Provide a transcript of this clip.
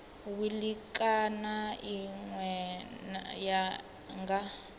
wili kana ine ya nga